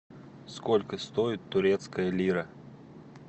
сколько стоит турецкая лира